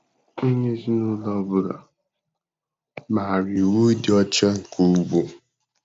Onye ezinaụlọ ọ bụla maara iwu ịdị ọcha nke ugbo.